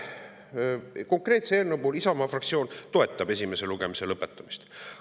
Konkreetse eelnõu puhul Isamaa fraktsioon toetab esimese lugemise lõpetamist.